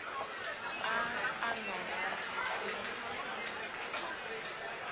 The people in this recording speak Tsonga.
a a nga rhandzi ku